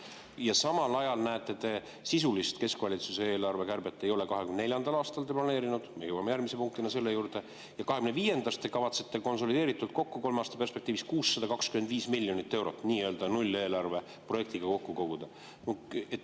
Ja samal ajal me näeme, et sisulist keskvalitsuse eelarve kärbet ei ole 2024. aastaks planeeritud – me jõuame järgmise punktina selle juurde – ja 2025. aastast te kavatsete konsolideeritult kokku kolme aasta perspektiivis 625 miljonit eurot nii-öelda nulleelarve projektiga kokku koguda.